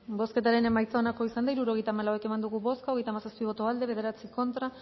bozketaren emaitza onako izan da hirurogeita hamalau eman dugu bozka hogeita hamazazpi boto aldekoa bederatzi contra